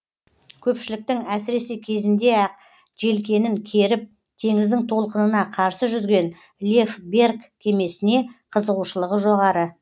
көпшіліктің әсіресе кезінде ақ желкенін керіп теңіздің толқынына қарсы жүзген лев берг кемесіне қызығушылығы жоғары